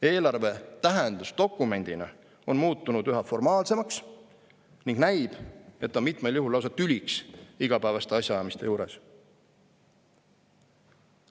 Eelarve tähendus dokumendina on muutunud üha formaalsemaks ning näib, et on mitmel juhul lausa tüliks igapäevaste asjaajamiste juures.